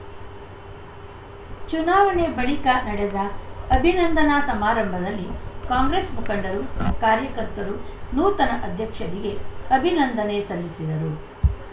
ಚುನಾವಣೆ ಬಳಿಕ ನಡೆದ ಅಭಿನಂದನಾ ಸಮಾರಂಭದಲ್ಲಿ ಕಾಂಗ್ರೆಸ್‌ ಮುಖಂಡರು ಕಾರ್ಯಕರ್ತರು ನೂತನ ಅಧ್ಯಕ್ಷರಿಗೆ ಅಭಿನಂದನೆ ಸಲ್ಲಿಸಿದರು